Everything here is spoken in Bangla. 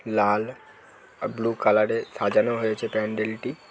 লাল আর ব্লু কালারে সাজানো হয়েছে প্যান্ডেলটি।